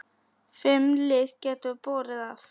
Fimm lið gætu borið af.